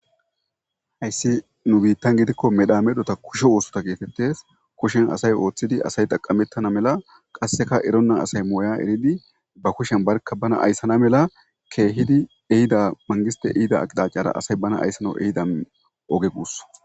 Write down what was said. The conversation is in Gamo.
hayssi nu biittan gidikko medhamedhota kushe oosota geetettes kushen asay ooththidi asay taqamettana mela qasseka eronna asay mooya eridi ba kushen barka bana ayssana mela keehidi ehida mangiste ihida aqidacara asay bana ayssano ehidan oge guus